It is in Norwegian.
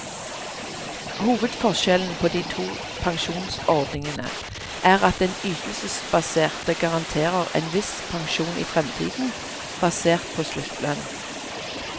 Hovedforskjellen på de to pensjonsordningene er at den ytelsesbaserte garanterer en viss pensjon i fremtiden, basert på sluttlønn.